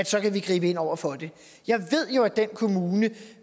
så kan gribe ind over for det jeg ved jo at